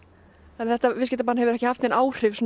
þetta viðskiptabann hefur ekki haft nein áhrif